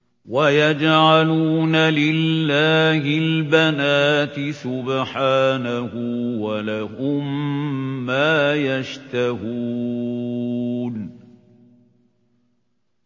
وَيَجْعَلُونَ لِلَّهِ الْبَنَاتِ سُبْحَانَهُ ۙ وَلَهُم مَّا يَشْتَهُونَ